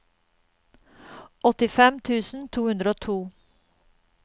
åttifem tusen to hundre og to